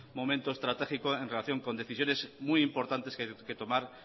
momento estratégico en relación con decisiones muy importantes que tomar